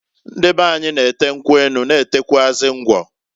Ndị beanyi na-ete nkwu enu, na etekwuazị ngwọ.